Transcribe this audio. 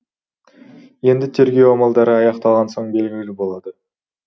енді тергеу амалдары аяқталған соң белгілі болады